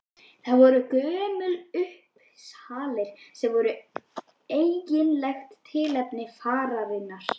En það voru Gömlu Uppsalir sem voru eiginlegt tilefni fararinnar.